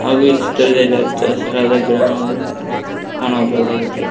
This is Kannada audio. ಹಾಗು ಈ ಚಿತ್ರದಲ್ಲಿ ಹಚ್ಚಹಸಿರಾದ ಗಿಡಗಳನ್ನು ಕಾಣಬೋದಾಗಿದೆ.